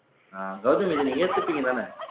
அஹ் கௌதமி இத நீங்க ஏத்துப்பீங்கதானே